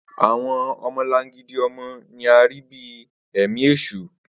Awọn ọmọlangidi ọmọ ni a rii bi ẹmi eṣu